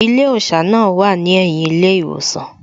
Ilé òṣà náà wà ní ẹ̀yìn ilé ìwòsàn